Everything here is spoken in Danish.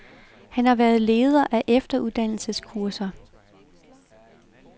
Han har været leder af efteruddannelseskurser.